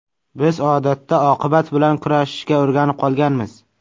Biz odatda oqibat bilan kurashishga o‘rganib qolganmiz.